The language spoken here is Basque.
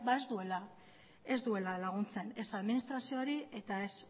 ez duela laguntzen ez administrazioari eta ez